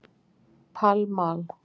Pall Mall